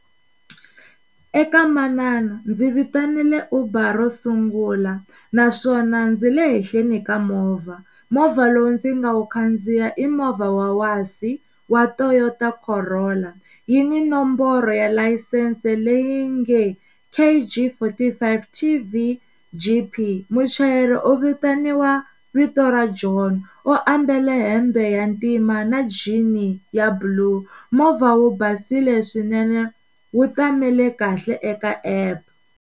Eka manana ndzi vitanile Uber ro sungula naswona ndzi le henhleni ka movha movha lowu ndzi nga wu khandziya i movha wa wasi wa Toyota Corolla yi ni nomboro ya layisense leyi nge K_G forty five T_V_G_P muchayeri u vitaniwa vito ra John u ambala hembe ya ntima na jean-i ya blue movha wu basile swinene wu tamele kahle eka app.